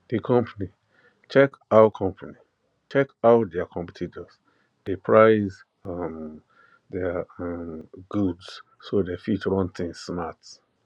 the company check how company check how their competitors dey price um their um goods so dem fit run things smart